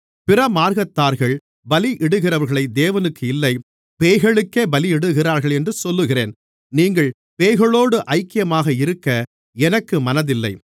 பிறமார்க்கத்தார்கள் பலியிடுகிறவைகளை தேவனுக்கு இல்லை பேய்களுக்கே பலியிடுகிறார்கள் என்று சொல்லுகிறேன் நீங்கள் பேய்களோடு ஐக்கியமாக இருக்க எனக்கு மனதில்லை